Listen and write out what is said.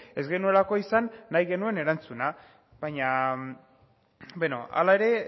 ez genuelako izan nahi genuen erantzuna hala ere